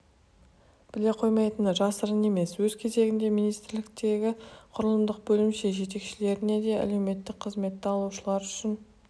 біле қоймайтыны жасырын емес өз кезегінде министрліктегі құрылымдық бөлімше жетекшілеріне де әлеуметтік қызметті алушылар үшін